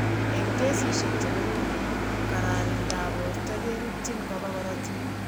Eng' kesishek che koromen, kararindab borto kerutchitni koba korotik .